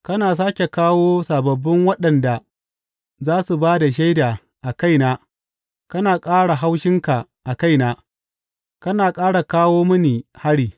Kana sāke kawo sababbin waɗanda za su ba da shaida a kaina kana ƙara haushinka a kaina; kana ƙara kawo mini hari.